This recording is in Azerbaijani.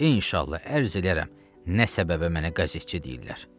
İnşallah ərz eləyərəm nə səbəbə mənə qəzetçi deyirlər.